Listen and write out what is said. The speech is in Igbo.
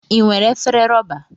I nwere efere rọba.